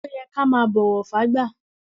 Ọ́ yẹ kí a máa bọ́wọ̀ fágbà.